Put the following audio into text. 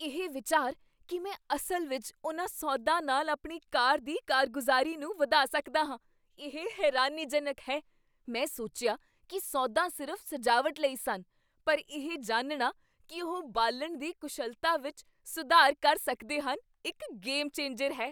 ਇਹ ਵਿਚਾਰ ਕੀ ਮੈਂ ਅਸਲ ਵਿੱਚ ਉਹਨਾਂ ਸੋਧਾਂ ਨਾਲ ਆਪਣੀ ਕਾਰ ਦੀ ਕਾਰਗੁਜ਼ਾਰੀ ਨੂੰ ਵਧਾ ਸਕਦਾ ਹਾਂ, ਇਹ ਹੈਰਾਨੀਜਨਕ ਹੈ ਮੈਂ ਸੋਚਿਆ ਕੀ ਸੋਧਾਂ ਸਿਰਫ਼ ਸਜਾਵਟ ਲਈ ਸਨ, ਪਰ ਇਹ ਜਾਣਨਾ ਕੀ ਉਹ ਬਾਲਣ ਦੀ ਕੁਸ਼ਲਤਾ ਵਿੱਚ ਸੁਧਾਰ ਕਰ ਸਕਦੇ ਹਨ ਇੱਕ ਗੇਮ ਚੇਂਜਰ ਹੈ